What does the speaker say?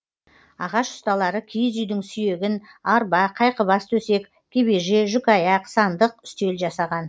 ағаш ұсталары киіз үйдің сүйегін арба қайқыбас төсек кебеже жүкаяқ сандық үстел жасаған